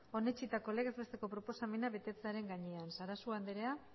onetsitako legez besteko proposamena betetzearen gainean sarasua andrea